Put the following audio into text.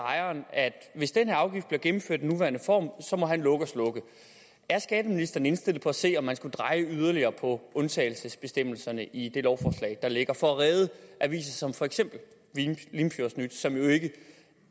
at hvis den her afgift bliver gennemført i den nuværende form må han lukke og slukke er skatteministeren indstillet på at se på om man skulle dreje yderligere på undtagelsesbestemmelserne i det lovforslag der ligger for at redde aviser som for eksempel limfjordsnyt som jo ikke